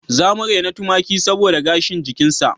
Za mu rena tumaki saboda gashin jikinsa